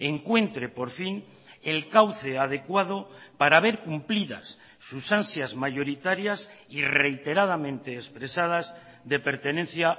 encuentre por fin el cauce adecuado para ver cumplidas sus ansias mayoritarias y reiteradamente expresadas de pertenencia